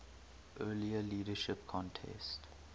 earlier leadership contest